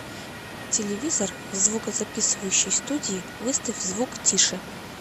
телевизор в звукозаписывающей студии выставь звук тише